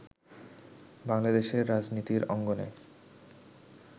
বাংলাদেশের রাজনীতির অঙ্গনে